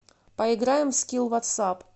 поиграем в скилл ватсап